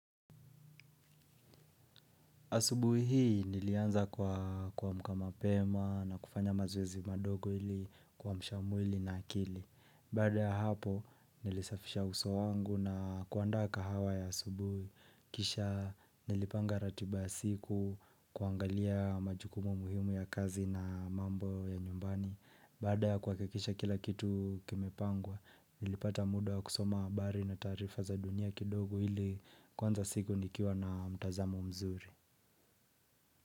Asubuhi hii nilianza kwa kuamka mapema na kufanya mazoezi madogo ili kuamsha mwili na akili. Baada ya hapo nilisafisha uso wangu na kuandaa kahawa ya asubuhi. Kisha nilipanga ratiba ya siku, kuangalia majukumu muhimu ya kazi na mambo ya nyumbani. Bada ya kuhakikisha kila kitu kimepangwa nilipata muda kusoma habari na taarifa za dunia kidogo ili kuanza siku nikiwa na mtazamo mzuri.